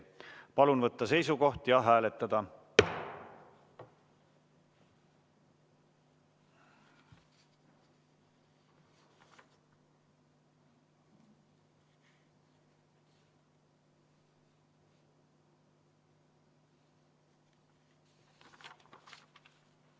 Palun võtta seisukoht ja hääletada!